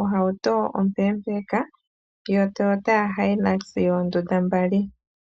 ohauto ompeepeka yotoyota hilux yoondunda dhili mbali.